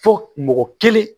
Fo mɔgɔ kelen